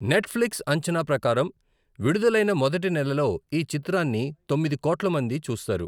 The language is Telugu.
నెట్ఫ్లిక్స్ అంచనా ప్రకారం, విడుదలైన మొదటి నెలలో ఈ చిత్రాన్ని తొమ్మిది కోట్ల మంది చూస్తారు.